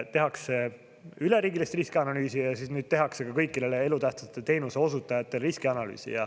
Tehakse üleriigilist riskianalüüsi ja siis nüüd tehakse ka kõikidele elutähtsate teenuste osutajatele riskianalüüsi.